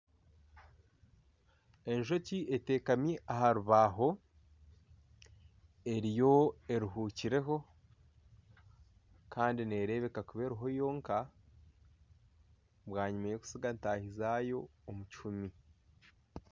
Enjoki entekami aha rubaho eriyo eruhukireho kandi neerebeeka kuba eriho yonka bwanyima y'okutsiga ntaahi zaayo omu kihumi.